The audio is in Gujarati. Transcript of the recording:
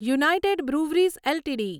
United Breweries LTD